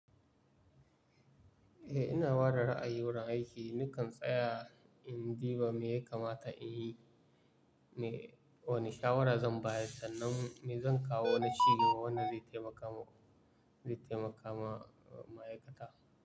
Eh, ina ware ra'ayi wurin aiki. Ni kan tsaya in ji ba me ya kamata in yi. Me, wani shawarar zan ba da sannu, me zan kawo na shiga wannan zai taimaka mu, zai taimaka ma'aikata.